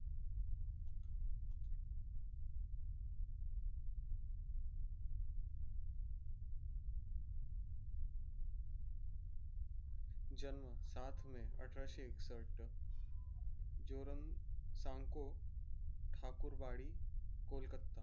जन्म सात मे अठराशे एकसष्ट जोरण साणको ठाकूर वाडी कोलकत्ता